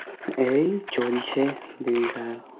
এই চোলছে দিন খানা